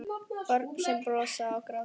Börn sem brosa og gráta.